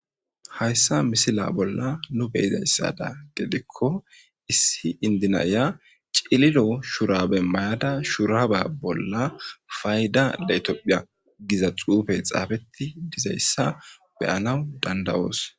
hayssa misila bolla nu beyizayssada gedikko issi indinaya ciliro shurabe mayada shuraaba bolla fayda leetopphiya giza xuufey xaafetti dizayssa beyanaw dandawoos